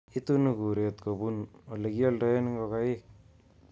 Itunu kuret kobun alekioldoen ngokaik